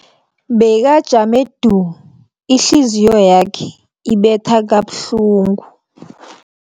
Bekajame du, ihliziyo yakhe ibetha kabuhlungu.